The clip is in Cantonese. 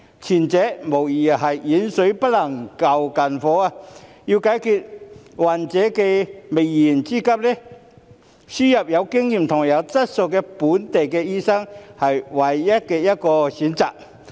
前者無疑是遠水不能救近火，要解決患者的燃眉之急，輸入有經驗及有質素的非本地培訓醫生，是目前唯一的選擇。